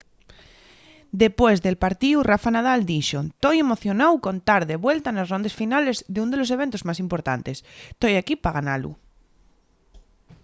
depués del partíu rafa nadal dixo: toi emocionáu con tar de vuelta nes rondes finales d’ún de los eventos más importantes. toi equí pa ganalu